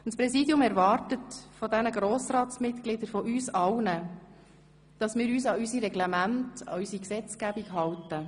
Das Präsidium erwartet von den Grossratsmitgliedern – von uns allen –, dass wir uns an unsere Reglemente und unsere Gesetzgebung halten.